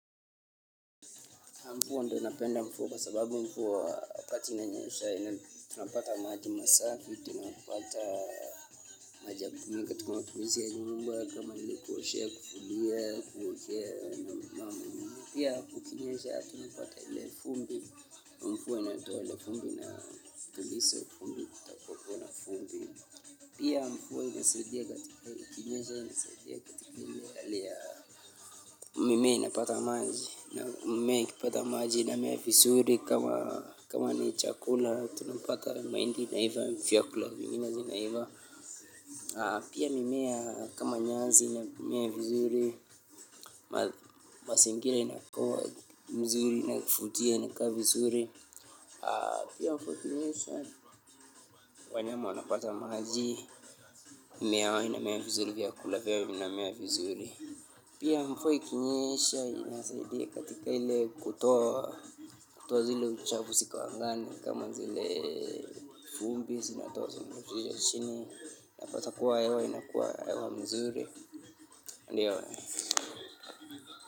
Mvua ndiyo napenda mvua kwa sababu mvua wakati inanyesha tunapata maji masafi tunapata maji ya kutumika katika matumizi ya nyumba kama vile kuoshea, kufulia, kuogea na pia kukinyesha tunapata ile vumbi mvua inatoa ile vumbi na inatuliza vumbi. Pia mvua inasaidia katika ikinyesha inasaidia katika ile hali ya mimea inapata maji na mimea ikipata maji inamea vizuri kama ni chakula tunapata mahindi inaiva vyakula vingine zinaiva. Pia mimea kama nyasi inamea vizuri mazingira inakua mzuri inayovutia inakaa vizuri. Pia mvua ikinyesha wanyama wanapata maji, mimea inamea vizuri, vyakula vyao vinamea vizuri. Pia mvua ikinyesha inasaidia katika ile kutoa zile uchafu ziko angani kama zile vumbi zinatoa zile uchafu ziko angani unapata kuwa hewa inakuwa hewa mzuri hadi.